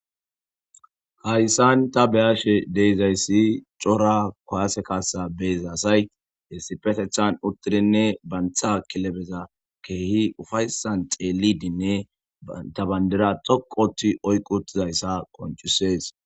hayssan ta beyaashe deyzayssi cora kaase kaasa beeza asay he sipetethan uttidinne bantha kilebeza keehi ufaysan xeelidinne ta bandira xoqoti oyqu uttizayssa qoncusees